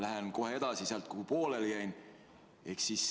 Lähen kohe edasi sealt, kuhu pooleli jäin.